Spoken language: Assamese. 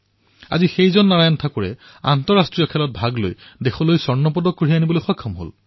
আজি সেইজন নাৰায়ণেই আন্তৰ্জাতিক প্ৰতিযোগিতাত ভাৰতৰ বাবে সোণৰ পদক জয় কৰিছে